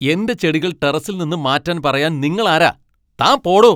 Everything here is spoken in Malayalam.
എന്റെ ചെടികൾ ടെറസിൽ നിന്ന് മാറ്റാൻ പറയാൻ നിങ്ങൾ ആരാ? താൻ പോടോ!